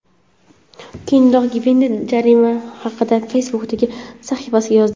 Keyinroq Gvenel jarima haqida Facebook’dagi sahifasiga yozdi.